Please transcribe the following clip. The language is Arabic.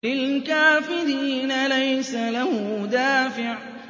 لِّلْكَافِرِينَ لَيْسَ لَهُ دَافِعٌ